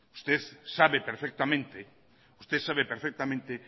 usted sabe perfectamente usted sabe perfectamente